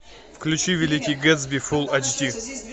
включи великий гетсби фулл айч ди